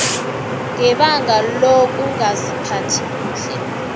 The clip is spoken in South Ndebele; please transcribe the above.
ngebanga lokungaziphathi kuhle